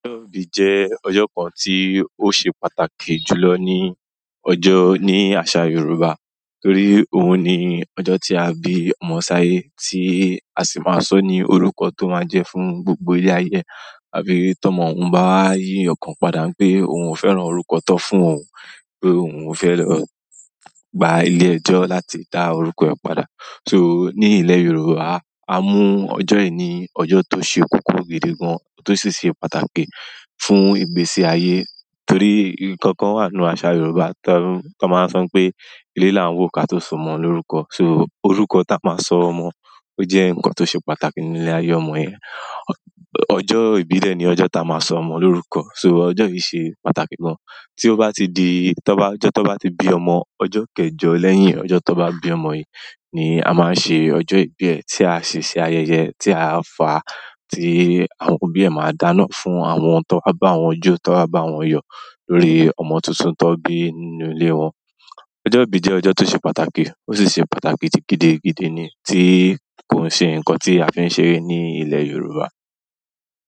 Ọjọ́ ìbí jẹ́ ọjọ́ kan tí ó ṣe pàtàkì jù lọ ní ọjọ́ ní àṣà Yoruba, torí òun ni ọjọ́ tí a bí ọmọ sáyé tí a sì máa sọ ní orúkọ tó máa jẹ́ fún gbogbo ilé-ayé ẹ. Àbí tọ́mọ òun bá wá yí ọkàn padà n pé òun ò fẹ́ràn orúkọ tán fún òun o pé òun ò fẹ́ lọ gba ilé ẹjọ́ láti dá orúkọ rẹ̀ padà. So ní ilẹ̀ Yorùbá, a mú ọjọ́ yìí ní ọjọ́ tó ṣe kókó gidi gan, tó sì ṣe pàtàkì fún ìgbésí ayé. Torí nǹkan kan wà nu àṣà Yorùbá tan tan máa ń sọ i pé "ilé là ń wòó ká tó so ọmọ lórúkọ." So orúkọ ta máa sọ ọmọ, ó jẹ́ nǹkan tó ṣe pàtàkì nílé ayé ọmọ yẹn. Ọ. Ọjọ́ ìbí rẹ̀ ni ọjọ́ ta máa sọ ọmọ lórúkọ. So ọjọ́ yìí ṣe pàtàkì gan. Tí ó bá ti di, tó bá, ọjọ́ tó bá ti bí ọmọ, ọjọ́ kẹjọ lẹ́yìn ọjọ́ tó bá bí ọmọ yìí ni a máa ń ṣe ọjọ́ ìbí ẹ̀, tí a sì ṣe ayẹyẹ tí a ń fà á, tí àwọn òbí ẹ̀ máa dáná fún àwọn tan ba bá wọn jó, tí wọ́n bá wọn yọ̀ lórí ọmọ tuntun tó bí nínú ilé wọn. Ọjọ́ ìbí jẹ́ ọjọ́ tó ṣe pàtàkì, ó sì ṣe pàtàkì gidigidi ni tí kò ṣe nǹkan tí a fi ń ṣeré ní ilẹ̀ Yorùbá.